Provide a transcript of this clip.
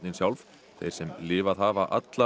sjálf þeir sem lifað hafa alla